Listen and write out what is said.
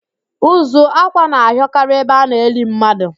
Ụzụ ákwạ́ na-ahịọkarị ebe a na-eli mmadu